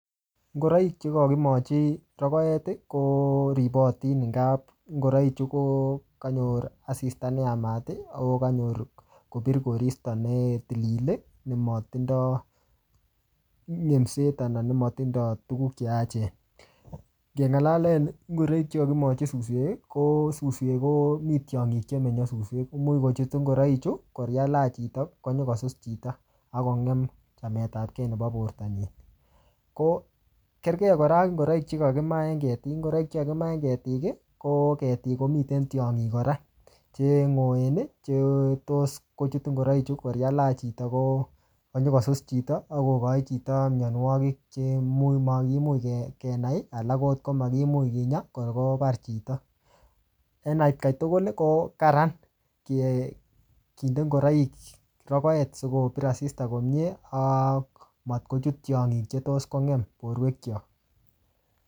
Ngoroik che kakimochi rokoet, ko ripotin eng kap ngoroik che kokanyor asista ne yamat, ako kanyor asista kopirkoristo ne tilil ne matindoi minset anan ne matindoi tuguk che yaachen. Keng'alalen ngoroik che kakimochi suswek, ko suswek komii tiong'ik chemenye suswek. Imuch kotuch ngoroik chu, ko eng yelach chito, konyikosus chito, akongem chametapkey nebo borto nyii. Ko kerkei kora ak ngoroik che kakimaa eng ketik. Ngoroik che kakimaa eng ketik, ko ketik, komiten tiong'ik kora, che ng'oen, chetos kochut ngoroik. Ko eng yelach chito, ko-konyikosus chito akokochi chito mianwogik che imuch makimuch ke-kenai, alak angot komakimuch kinyaa, ko kobar chito. Eng atkai tugul, ko kararan ki-kinde ngoroik rokoet sikopir asista komyee, ak matkochut tiong'ik che tos kongem borwek chok